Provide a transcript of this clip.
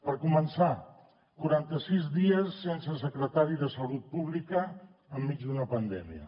per començar quaranta sis dies sense secretari de salut pública enmig d’una pandèmia